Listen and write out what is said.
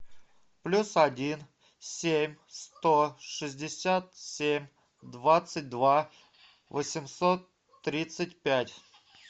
плюс один семь сто шестьдесят семь двадцать два восемьсот тридцать пять